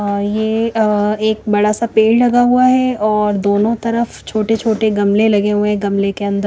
और ये अः एक बड़ा सा पेड़ लगा हुआ है और दोनों तरफ छोटे-छोटे गमले लगे हुए है गमले के अंदर--